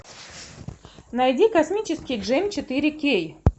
найди космический джем четыре кей